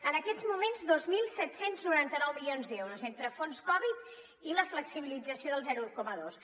en aquests moments dos mil set cents i noranta nou milions d’euros entre fons covid i la flexibilització del zero coma dos